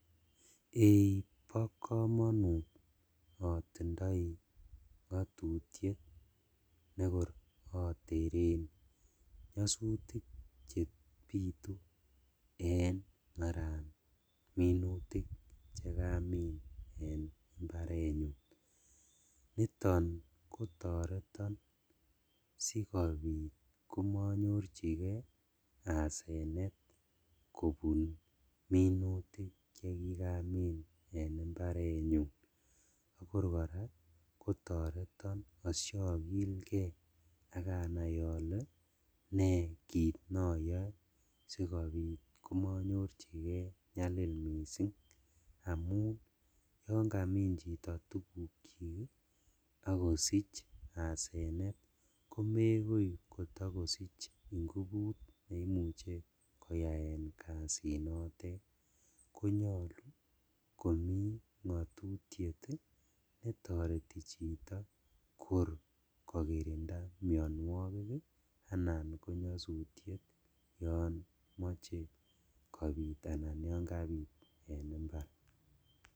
Ei bokomonut otindoi ngotutiet nekor oteren nyosutik chebitu en maran minutik chekamin en imbarenyun, niton kotoreton sikobit komonyorjigee asenet kobun minutik chekikamin en imbarenyun akor koraa kotoreton oshokilge ak anai ole nekit noyoe sikobit komonyorjigee nyalil missing', amun yon kamin chito tugukyik ii ok kosich asenet komekoi kotokosich inguput neimuche koyaen kasinotet konyolu komi ngotutiet netoreti chito kor kokirinda mionuokik anan ko nyosutiet yomoche kobit anan yon kabit en imbar.